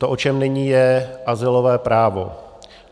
To, o čem není, je azylové právo.